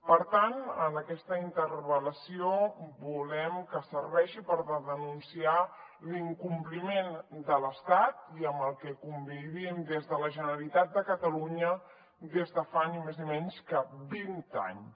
per tant aquesta interpel·lació volem que serveixi per denunciar l’incompliment de l’estat amb el que convivim des de la generalitat de catalunya des de fa ni més ni menys que vint anys